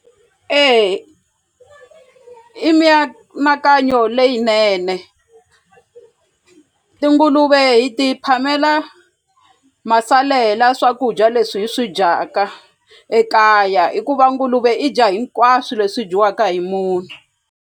E i mianakanyo leyinene tinguluve hi ti phamela masalela swakudya leswi hi swi dyaka ekaya i ku va nguluve i dya hinkwaswo leswi dyiwaka hi munhu.